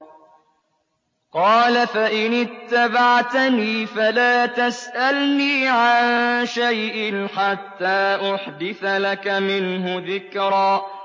قَالَ فَإِنِ اتَّبَعْتَنِي فَلَا تَسْأَلْنِي عَن شَيْءٍ حَتَّىٰ أُحْدِثَ لَكَ مِنْهُ ذِكْرًا